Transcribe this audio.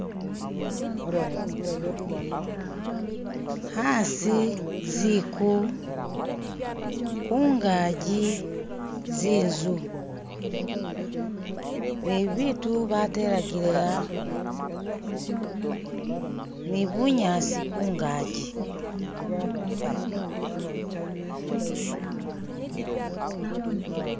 Haasi ziku hungaji z'inzu ne ibitu batelagile a ni bunyasi kungaji.